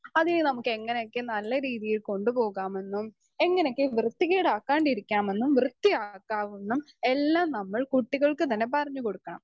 speaker 2 അതിയെ നമ്മുക്ക് എങ്ങനെയക്കെ നല്ല രീതിയിൽ കൊണ്ടുപോകാമെന്നും എങ്ങനെക്കെ വൃത്തികേടാക്കാണ്ടിരിക്കാമെന്നും വൃത്തിയാക്കാവുന്നും എല്ലാം നമ്മൾ കുട്ടികൾക്ക് തന്നെ പറഞ്ഞ് കൊടുക്കണം